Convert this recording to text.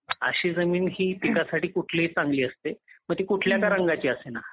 अशी जमीन ही पिकांसाठी कुठलीही जमीन चांगली असते मग ती कुठल्या का रंगाची असेना.